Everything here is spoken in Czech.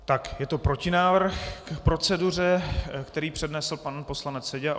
Tak, je to protinávrh k proceduře, který přednesl pan poslanec Seďa.